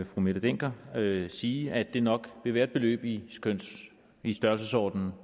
fru mette dencker sige at det nok vil være et beløb i størrelsesordenen